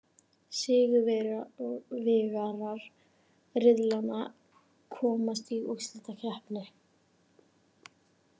Sigurvegarar riðlanna komast í úrslitakeppni.